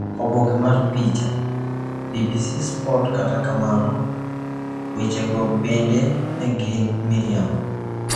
Oboke mar picha, BBC Sport Kata kamano, wechego bende ne gin miriambo.